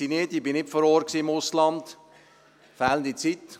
Ich war nicht vor Ort im Ausland, fehlende Zeit.